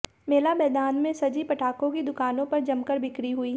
मेला मैदान में सजी पटाखों की दुकानों पर जमकर बिक्री हुई